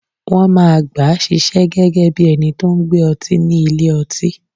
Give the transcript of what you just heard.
Wọ́n máa gbàá ṣiṣẹ́ gẹ́gẹ́ bí ẹni tó n gbé ọtí ni ilé-ọtí